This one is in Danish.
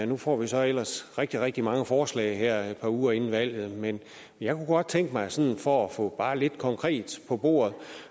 nu får vi så ellers rigtig rigtig mange forslag her et par uger inden valget men jeg kunne godt tænke mig sådan for at få bare lidt konkret på bordet